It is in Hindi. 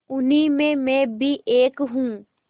उन्हीं में मैं भी एक हूँ